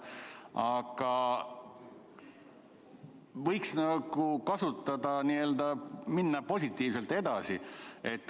Aga võiks nagu minna positiivselt edasi.